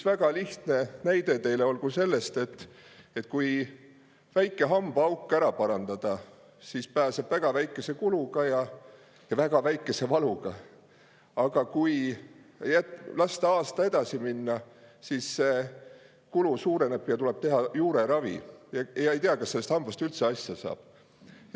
Väga lihtne näide teile olgu see, et kui väike hambaauk ära parandada, siis pääseb väga väikese kuluga ja väga väikese valuga, aga kui lasta aasta edasi minna, siis see kulu suureneb, tuleb teha juureravi ja ei tea, kas sellest hambast üldse asja saab.